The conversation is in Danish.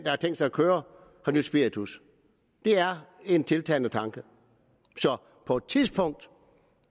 har tænkt sig at køre har nydt spiritus det er en tiltalende tanke så på et tidspunkt